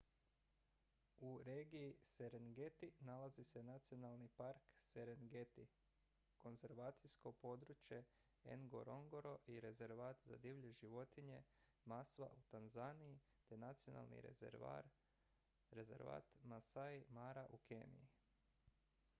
u regiji serengeti nalazi se nacionalni park serengeti konzervacijsko područje ngorongoro i rezervat za divlje životinje maswa u tanzaniji te nacionalni rezervat maasai mara u keniji